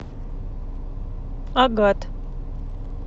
агат